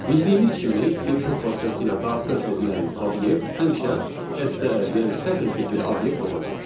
Bildiyimiz kimi input vasitəsilə daxil edilən obyekt həmişə STR, yəni sətir tipli obyekt olacaq.